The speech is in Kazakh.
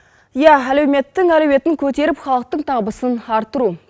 ия әлеуметтің әлеуетін көтеріп халықтың табысын арттыру